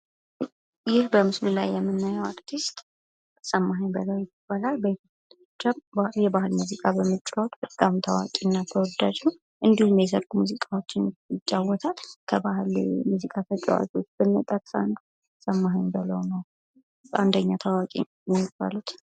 ይህ በምስሉ ላይ የምናየው አርቲስት ሰማሃኝ በለዉ ይባላል ፤ በኢትዮጵያ የባህል ሙዚቃ በመጫወት በጣም ታዋቂ እና ተወዳጅ ነው እንዲሁም የሰርግ ሙዚቃወችን ይጫወታል። ከባህል ሙዚቃ ተጫወላቾሽ ዉስጥ ብንጠቅስ አንዱ ሰማሃኝ በለዉ ነው ፤ በጣም ታዋቂ ከሚባሉት ዉስጥ አንዱ ነው።